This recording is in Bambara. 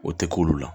O tɛ k'olu la